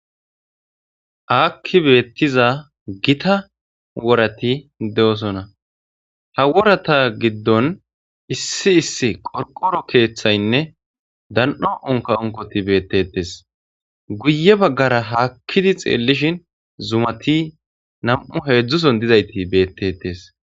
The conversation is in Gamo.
aakki beettiza gita worati de'osona ha worata giddon issi issi qorqoro keeththaynne dan'o onka onkoti beettetes guye baggara haakkidi xeellishin zumati nam7u heedzdzuson dizayti beettetes